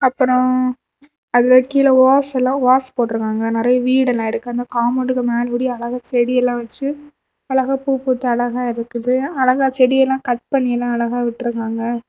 அப்றோ அதுல கீழ ஒஸ்ல ஒஸ் போட்ருக்காங்க நெறைய வீடு எல்லா இருக்கு அந்த காம்பௌண்ட் மேல அழகா செடி எல்லா வெச்சு அழகா பூ பூத்து அழகா இருக்குது அழகா செடி எல்லா கட் பன்னி எல்லா அழகா விட்ருக்காங்க.